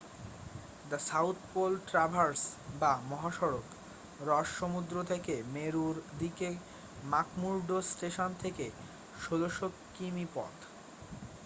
The South Pole Traverse বা মহাসড়ক Ross সমুদ্র থেকে মেরুর দিকে ম্যাকমুর্ডো স্টেশন থেকে ১৬০০ কিমি পথ।